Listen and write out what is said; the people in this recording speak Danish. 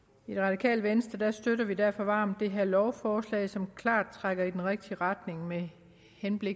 i det radikale venstre støtter vi derfor varmt det her lovforslag som klart trækker i den rigtige retning med hensyn